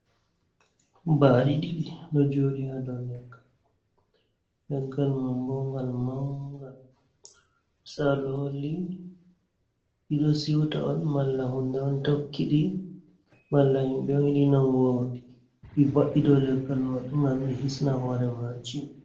Ɓaaɗi ɗiɗi ɗo jooɗi ha dou leggal. Leggal man bo ngal mangal. Misalu holli ɗi ɗo siwta on, malla hunde on tokkiɗi, malla himɓe on yiɗi nangugo ɗi, ɗi va’i dou leggal man ngam ɗi hisna hoore maaji.